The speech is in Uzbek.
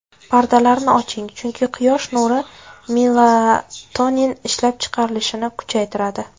Pardalarni oching, chunki quyosh nuri melatonin ishlab chiqarilishini kuchaytiradi.